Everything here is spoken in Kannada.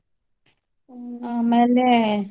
ಆಮೇಲೆ